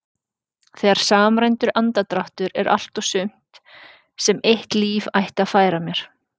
Þegar samræmdur andardráttur er allt og sumt sem eitt líf ætti að færa mér.